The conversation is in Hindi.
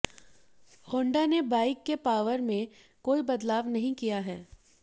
होंडा ने बाइक के पावर में कोई बदलाव नहीं किया है